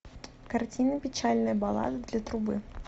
картина печальная баллада для трубы